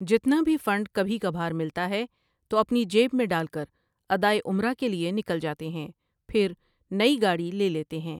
جتنا بھی فنڈ کبھی کبھار ملتا ہے تو اپنی جیب میں ڈال کر ادائے عمرہ کیلئے نکل جاتے ہیں پھر نئی گاڑی لے لیتے ہیں۔